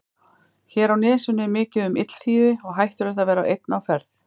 Hér á nesinu er mikið um illþýði og hættulegt að vera einn á ferð.